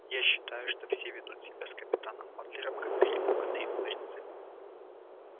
я считаю что все ведут себя с капитаном батлером как перепуганные курицы